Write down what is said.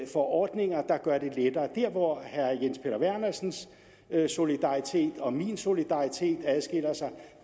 får ordninger der gør det lettere der hvor herre jens peter vernersens solidaritet og min solidaritet adskiller sig